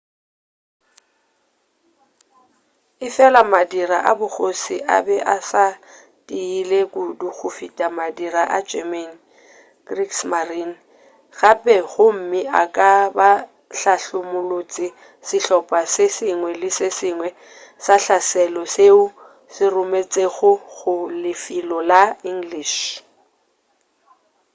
efela madira a bogoši a be a sa tiile kudu go feta madira a german kriegsmarine” gape gomme a ka be a hlahlamolotše sehlopha se sengwe le se sengwe sa hlaselo seo se rometšwego go lefelo la english